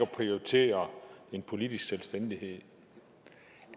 at prioritere en politisk selvstændighed